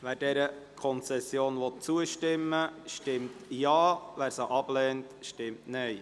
Wer der Konzession zustimmen will, stimmt Ja, wer diese ablehnt, stimmt Nein.